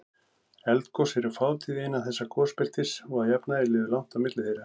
Eldgos eru fátíð innan þessa gosbeltis og að jafnaði líður langt á milli þeirra.